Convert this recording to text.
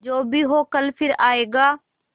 जो भी हो कल फिर आएगा